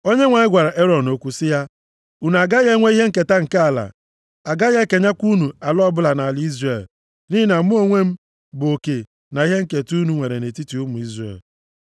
Onyenwe anyị gwara Erọn okwu sị ya, “Unu agaghị enwe ihe nketa nke ala, a gaghị ekenyekwa unu ala ọbụla nʼala Izrel niile. Nʼihi na mụ onwe m bụ oke na ihe nketa unu nwere nʼetiti ụmụ Izrel.